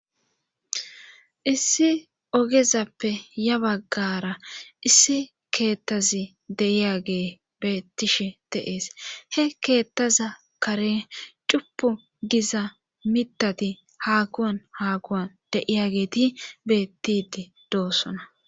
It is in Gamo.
Issi ogezappe ya baggara issi keettazi deiyagee beettishi teees he keettaza kare cupu giza mitati hakuwan haakuwan deiyageeti bettidi doossona